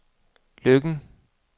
Løkken